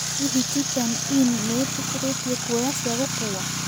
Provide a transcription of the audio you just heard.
hĩhĩ chicken inn niĩtikiritie kũoya cĩa gũkũwa